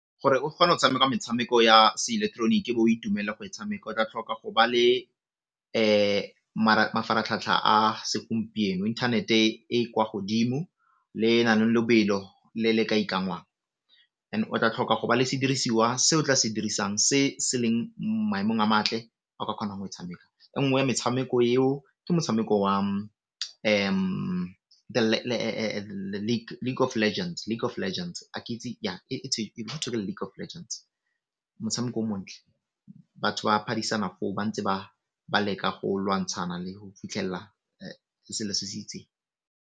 Gore o kgone go tshameka metshameko ya seileketeroniki bo o itumelela go e tshameka o tla tlhoka go ba le mafaratlhatlha a segompieno, internet e e kwa godimo le e naleng lobelo le le ka ikanngwang and o tla tlhoka go ba le sedirisiwa se o tla sedirisang se se leng maemong a matle ao ka kgonang go tshameka. E nngwe ya metshameko eo ke motshameko wa League of Legends motshameko o montle batho ba phadisana ba ntse ba leka go lwantshana go fitlhella le selo se se itseng.